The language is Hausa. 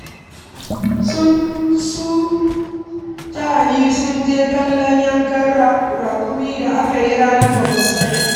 Su Tani sun je kallon yankan raƙumi da aka yi ranar babbar Sallah